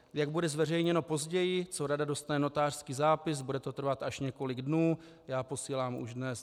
Jak bude zveřejněno později, co rada dostane notářský zápis, bude to trvat až několik dnů, já posílám už dnes."